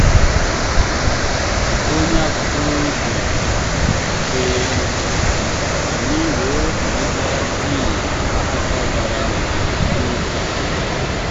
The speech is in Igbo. onye agbata obi bịara na mberede um anyị wee kerịta tii na akụkọ bara um uru. um